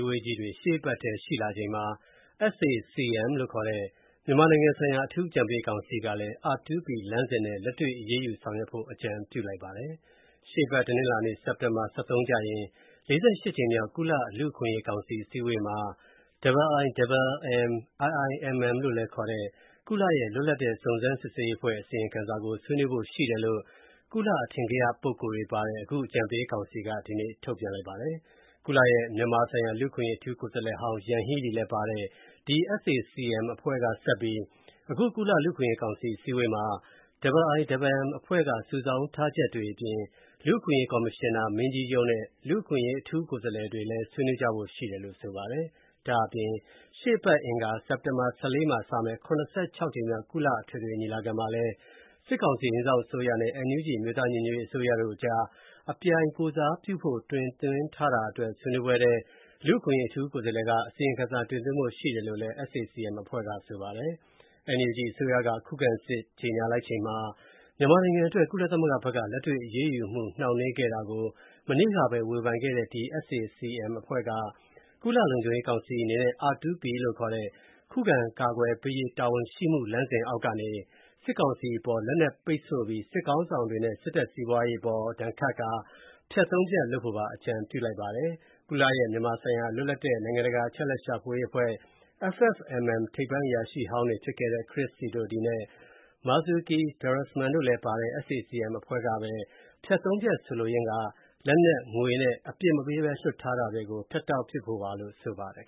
ဝေးကြီးတွေ ရှေ့သီတင်းပတ်အတွင်း ကျင်းပဖို့ ရှိနေချိန်မှာပဲ SAC-M မြန်မာနိုင်ငံဆိုင်ရာအထူးအကြံပေးကောင်စီက R2P လမ်းစဉ်နဲ့ လက်တွေ့အရေးယူဆောင်ရွက်ဖို့ ထပ်ပြီးအကြံပြုလိုက်ပါတယ်။ ရှေ့အပတ် တနင်္လာ၊ စက်တင်ဘာ ၁၃ ရက်နေ့ကျရင် ၄၈ ကြိမ်မြောက် ကုလလူ့အခွင့်အရေးကောင်စီအစည်းအဝေးမှာ IIMM ခေါ် ကုလရဲ့ လွတ်လပ်တဲ့စုံစမ်းစစ်ဆေးရေးအဖွဲ့ အစီရင်ခံစာကို ဆွေးနွေးဖို့ရှိတယ်လို့ ကုလအထင်ကရပုဂ္ဂိုလ်တွေပါတဲ့ အခုအကြံပေးကောင်စီက ဒီနေ့ထုတ်ပြန်လိုက်ပါတယ်။ ကုလရဲ့ မြန်မာနိုင်ငံဆိုင်ရာ လူ့အခွင့်အရေးအထူးကိုယ်စားလှယ်ဟောင်း ယန်ဟီးလီလည်းပါတဲ့ ဒီ SAC-M အဖွဲ့ကဆက်ပြီး အခု ကုလလူ့အခွင့်အရေးကောင်စီစည်းဝေးမှာ IIMM ကစုဆောင်းထားချက်တွေအပြင် လူ့အခွင့်အရေးကော်မရှင်နာမင်းကြီးရုံးနဲ့ လူ့အခွင့်အရေးအထူးကိုယ်စားလှယ်တွေလည်း ဆွေးနွေးကြဖို့ရှိတယ်လို့ ဆိုပါတယ်။ ဒါ့အပြင် ရှေ့အပတ် အင်္ဂါ၊ စက်တင်ဘာ ၁၄ မှာစမယ့် ၇၆ ကြိမ်မြောက် ကုလအထွေထွေညီလာခံမှာလည်း စစ်ကောင်စီ အိမ်စောင့်အစိုးရနဲ့ NUG အမျိုးသားညီညွတ်ရေးအစိုးရအကြား ကုလကိုယ်စားပြုမှုဆိုင်ရာ အပြိုင်တင်သွင်းထားတာအတွက် ဆွေးနွေးပွဲအတွင်းမှာ လူအခွင့်အရေးအထူးကိုယ်စားလှယ်က အစီရင်ခံစာတင်သွင်းဖို့ရှိတယ်လို့ SAC-M အဖွဲ့က ဆိုပါတယ်။ NUG အစိုးရက ခုခံစစ်ကြေညာလိုက်ချိန်မှာ မြန်မာနိုင်ငံအတွက် ကုလသမဂ္ဂဘက်က လက်တွေ့အရေးယူမှုနှောင့်နှေးခဲ့တာကို မနေ့ကပဲ ဝေဖန်ခဲ့တဲ့ ဒီ SAC-M အဖွဲ့က ကုလလုံခြုံရေးကောင်စီအနေနဲ့ R2P ခေါ် ခုခံကာကွယ်ပေးရေးတာဝန်ရှိမှု မူဘောင်အောက်ကနေ စစ်ကောင်စီအပေါ် လက်နက်ပိတ်ဆို့ပြီး စစ်ခေါင်းဆောင်တွေနဲ့ စစ်တပ်စီးပွားရေးအပေါ် ဒဏ်ခတ်ကာ ဖြတ် ၃ ဖြတ်လုပ်ဖို့ ထပ်ပြီး အကြံပြုလိုက်ပါတယ်။ ကုလရဲ့ မြန်မာဆိုင်ရာ လွတ်လပ်တဲ့ နိုင်ငံတကာအချက်အလက်ရှာဖွေရေးအဖွဲ့ FFMM ထိပ်ပိုင်းအရာရှိဟောင်းတွေဖြစ်တဲ့ Chris Sidoti နဲ့ Marzuki Darusman တို့လည်းပါတဲ့ SAC-M အဖွဲ့ကပဲ ဖြတ် ၃ ဖြတ်ဆိုလိုရင်းက လက်နက်၊ ငွေနဲ့ အပြစ်မပေးဘဲ လွှတ်ထားတာတွေကို ဖြတ်တောက်ဖို့ပါလို့ဆိုပါတယ်